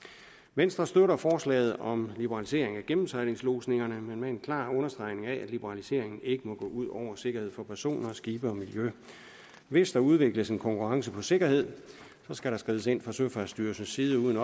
venstre støtter forslaget om liberalisering af gennemsejlingslodsningerne men med en klar understregning af at liberaliseringen ikke må gå ud over sikkerheden for personer skibe og miljø hvis der udvikles en konkurrence på sikkerhed skal der skrides ind fra søfartsstyrelsens side uden